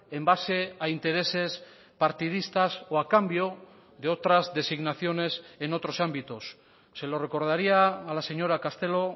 en base a intereses partidistas o a cambio de otras designaciones en otros ámbitos se lo recordaría a la señora castelo o